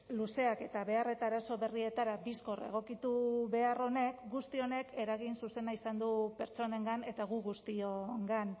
luzeak eta behar eta arazo berrietara bizkor egokitu behar honek guzti honek eragin zuzena izan du pertsonengan eta gu guztiongan